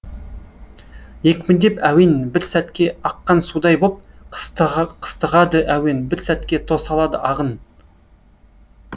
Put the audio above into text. екпіндеп әуен бір сәтке аққан судай боп қыстығады әуен бір сәтке тосалады ағын